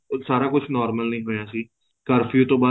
ਸਾਰਾ ਕੁੱਛ normal ਨਹੀਂ ਹੋਇਆ ਸੀ ਕਰਫਿਊ ਤੋਂ ਬਾਅਦ